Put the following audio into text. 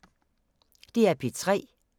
DR P3